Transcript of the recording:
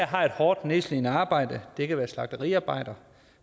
har et hårdt nedslidende arbejde det kan være som slagteriarbejder